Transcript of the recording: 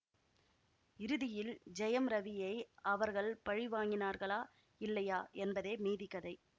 இறுதியில் ஜெயம் ரவியை அவர்கள் பழிவாங்கினார்களா இல்லையா என்பதே மீதி கதை